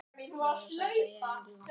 Ljós sást í einum glugga.